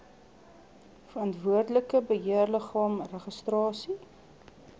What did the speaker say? verantwoordelike beheerliggaam registrasie